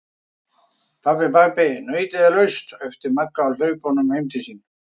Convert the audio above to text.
Pabbi, pabbi nautið er laust! æpti Magga á hlaupunum heim til sín.